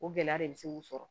O gɛlɛya de bɛ se k'u sɔrɔ